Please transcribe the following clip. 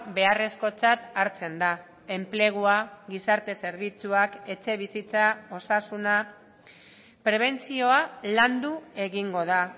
beharrezkotzat hartzen da enplegua gizarte zerbitzuak etxebizitza osasuna prebentzioa landu egingo da